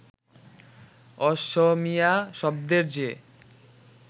অসমীয়া শব্দের যে